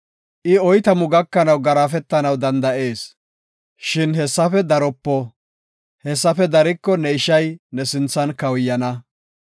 I oytamu gakanaw garaafetanaw danda7ees, shin hessafe daropo. Hessafe dariko ne ishay ne sinthan kawuyana.